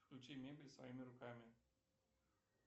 включи мебель своими руками